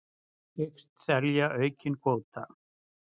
Hyggst selja aukinn kvóta